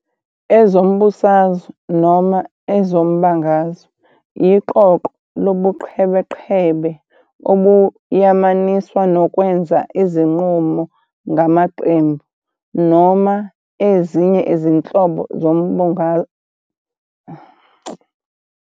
Ezombusazwe, noma ezombangazwe, iqoqo lobuqhebeqhebe obuyamaniswa nokwenza izinqumo ngamaqembu, noma ezinye izinhlobo zombungazwe.